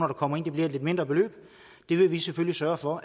der kommer ind det bliver et lidt mindre beløb det vil vi selvfølgelig sørge for